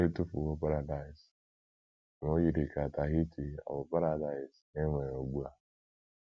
E tụfuwo paradaịs, ma o yiri ka Tahiti ọ̀ bụ paradaịs e nwere ugbu a!